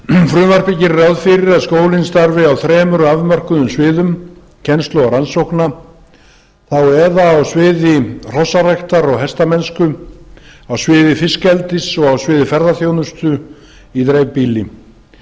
frumvarpið gerir ráð fyrir að skólinn starfi á þremur afmörkuðum sviðum kennslu og rannsókna á sviði hrossaræktar og hestamennsku á sviði fiskeldis og á sviði ferðaþjónustu í dreifbýli